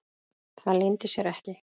Það leyndi sér ekki.